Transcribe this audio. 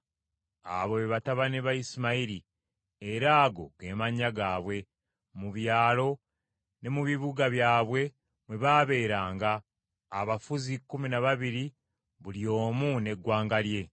Abo be batabani ba Isimayiri, era ago ge mannya gaabwe, mu byalo ne mu bibuga byabwe mwe baabeeranga, abafuzi kkumi na babiri buli omu n’eggwanga lye.